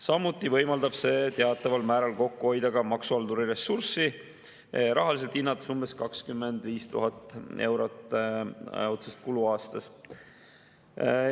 Samuti võimaldab see teataval määral kokku hoida ka maksuhalduri ressurssi, rahaliselt hinnates umbes 25 000 eurot otsest kulu aastas.